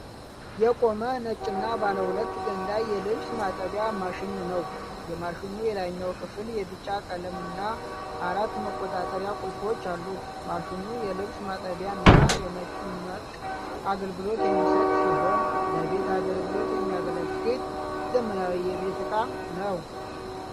የቆመ፣ ነጭና ባለ ሁለት ገንዳ የልብስ ማጠቢያ ማሽን ነው። የማሽኑ የላይኛው ክፍል የቢጫ ቀለምና አራት መቆጣጠሪያ ቁልፎች አሉት። ማሽኑ የልብስ ማጠብና የመጭመቅ አገልግሎት የሚሰጥ ሲሆን፣ ለቤት አገልግሎት የሚያገለግል ዘመናዊ የቤት እቃ ነው።